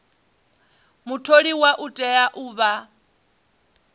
mutholiwa u tea u vha